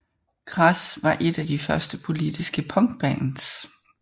Crass var et af de første politiske punkbands